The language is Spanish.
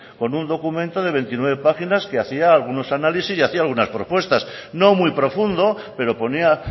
con un documento de veintinueve páginas que hacía algunos análisis y hacía algunas propuestas no muy profundo pero ponía